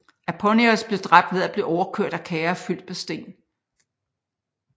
Aponius blev dræbt ved at blive overkørt af kærrer fyldt med sten